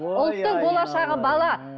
ұлттың болашағы бала